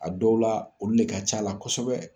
A dɔw la olu le ka c'a la kɔsɔbɛ.